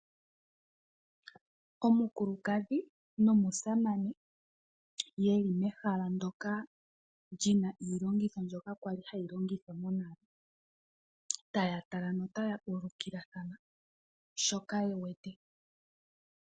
Omukulukadhi nomusamane yeli mehala ndyoka li na iilongitho mbyono kwali hayi longithwa monale. Taya tala, notaya ulukilathana shoka ye wete .